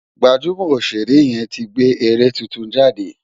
Gbajúmọ̀ Òṣèré yẹn ti gbé eré tuntun jáde